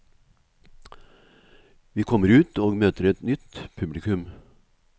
Vi kommer ut og møter et nytt publikum.